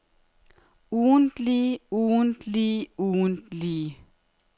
ugentlige ugentlige ugentlige